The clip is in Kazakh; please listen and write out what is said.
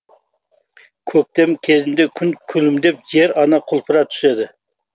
көктем кезінде күн күлімдеп жер ана құлпыра түседі